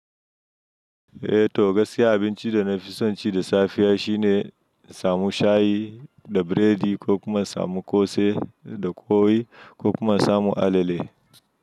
Eh to gaskiya abinci da na fi son ci da safiya shine samu shayi da biredi ko kuma samu kosei da koyi ko kuma samu alale.